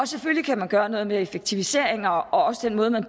selvfølgelig kan man gøre noget med effektiviseringer og også den måde man